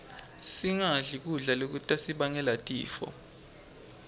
singadli kudla lokutasibangela tifo